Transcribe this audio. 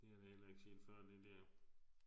Det har vi heller ikke set før det der